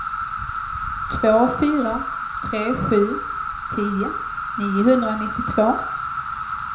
två fyra tre sju tio niohundranittiotvå